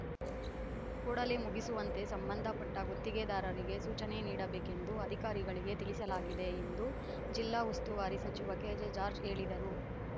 ಕೂಡಲೇ ಮುಗಿಸುವಂತೆ ಸಂಬಂಧಪಟ್ಟಗುತ್ತಿಗೆದಾರರಿಗೆ ಸೂಚನೆ ನೀಡಬೇಕೆಂದು ಅಧಿಕಾರಿಗಳಿಗೆ ತಿಳಿಸಲಾಗಿದೆ ಎಂದು ಜಿಲ್ಲಾ ಉಸ್ತುವಾರಿ ಸಚಿವ ಕೆಜೆ ಜಾರ್ಜ್ ಹೇಳಿದರು